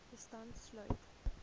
bystand sluit